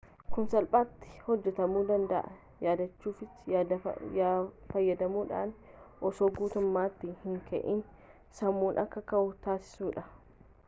kun salphaati hojaatamu danda'aa yaadachiftuu fayyadamuudhaan osoo guutummatti hin ka'iin sammuun akka ka'uu taasisuudhaan